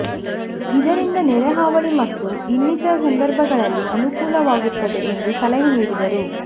ಇದರಿಂದ ನೆರೆ ಹಾವಳಿ ಮತ್ತು ಇನ್ನಿತರ ಸಂದರ್ಭಗಳಲ್ಲಿ ಅನುಕೂಲವಾಗುತ್ತದೆ ಎಂದು ಸಲಹೆ ನೀಡಿದರು